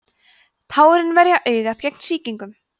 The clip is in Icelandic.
tárin verja augað gegn sýkingum